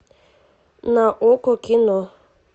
на окко кино